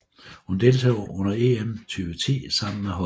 Hun deltog under EM 2010 sammen med holdet